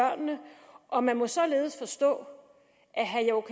og man må således forstå at herre